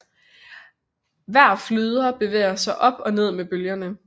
Hver flyder bevæger sig op og ned med bølgerne